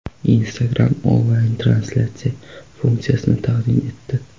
Instagram onlayn-translyatsiya funksiyasini taqdim etdi.